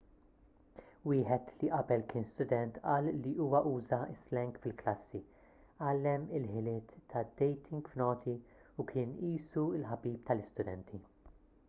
wieħed li qabel kien student qal li huwa uża s-slang fil-klassi għallem il-ħiliet tad-dating f'noti u kien qisu l-ħabib tal-istudenti'